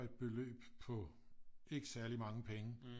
Et beløb på ikke særlig mange penge